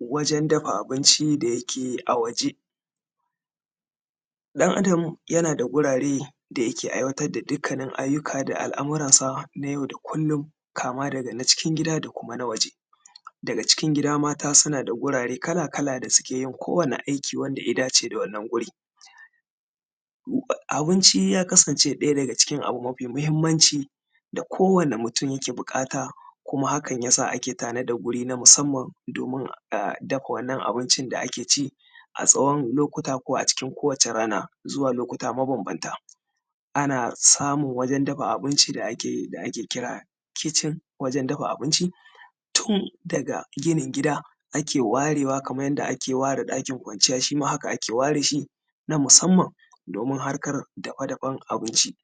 wajen dafa abinci da yake a waje ɗan adam yana da gurare da yake aiwatar da dukkanin ayyuka da al’amuran sa na yau da kullum kama daga na cikin gida da kuma na waje daga cikin gida mata suna da gurare kala-kala da suke yin kowanni aiki wanda ya dace da wannan gurin abinci ya kasance ɗaya daga cikin abu mafi muhimmanci da kowanni mutum yake buƙata kuma hakan yasa ake tanadar guri na musamman domin a dafa wannan abinci da ake ci a tsawon lokuta ko a cikin kowacce rana zuwa lokuta mabanbanta ana samun wajen dafa abinci da ake kira kitchen wajen dafa abinci tun daga ginin gida ake warewa kaman yanda ake ware ɗakin kwanciya shima haka ake ware shin a musamman domin harkar dafa-dafen abinci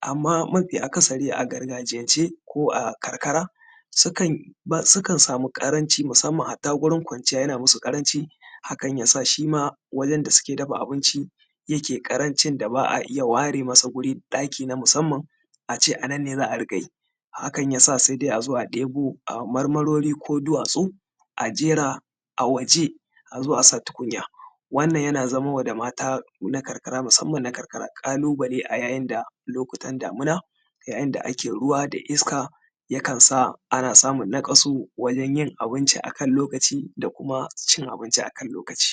amman mafi akasari a gargajiyance ko a karkara sukan samu ƙaranci musamman hatta gurin kwanciya yana musu ƙaranci hakan yasa shima wajen da suke dafa abinci yake ƙarancin da ba a iya ware masa guri ɗaki na musamman ace anan ne za a riƙa yi hakan yasa sai dai azo a ɗebo marmarori ko duwatsu a jera a waje azo a sa tukunya wannan yana zamowa da mata na karkara musamman na karkara ƙalubale a yayin da lokutan damina yayin da ake ruwa da iska yakan sa ana samun naƙasu wajen yin abinci akan lokaci da kuma cin abinci akan lokacin